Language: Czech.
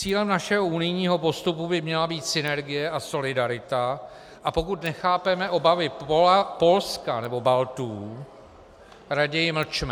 Cílem našeho unijního postupu by měla být synergie a solidarita, a pokud nechápeme obavy Polska nebo Baltů, raději mlčme.